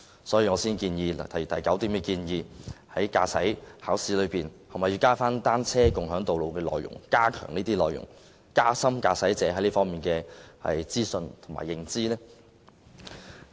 所以，我在議案中提出第九點，建議在駕駛考試中加入單車共享道路的內容，以加深駕駛者對這方面的資訊的認知。